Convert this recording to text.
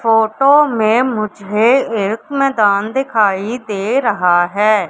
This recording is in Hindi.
फोटो में मुझे एक मैदान दिखाई दे रहा है।